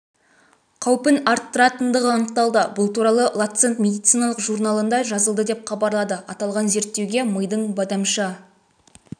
қаупін арттыратындығы анықталды бұл туралы ланцет медициналық журналында жазылды деп хабарлады аталған зерттеуге мидың бадамша